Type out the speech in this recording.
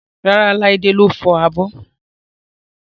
Rárá, Laide ló fọ abọ́